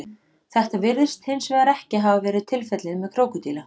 Þetta virðist hins vegar ekki hafa verið tilfellið með krókódíla.